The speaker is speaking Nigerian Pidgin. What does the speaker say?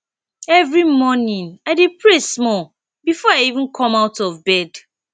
every morning i dey pray small before i even come out of bed